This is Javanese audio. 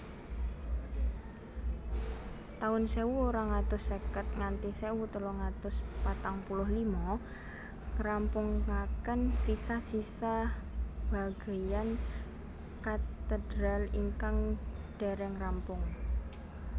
taun sewu rong atus seket nganthi sewu telung atus patang puluh lima ngrampungaken sisa sisa bageyan katedral ingkang dereng rampung